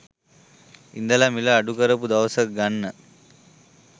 ඉඳලා මිල අඩු කරපු දවසක ගන්න.